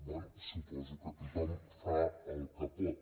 bé suposo que tothom fa el que pot